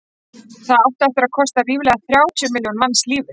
það átti eftir að kosta ríflega þrjátíu milljón manns lífið